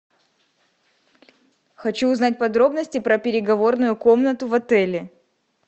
хочу узнать подробности про переговорную комнату в отеле